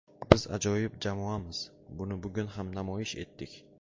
Biz ajoyib jamoamiz, buni bugun ham namoyish etdik.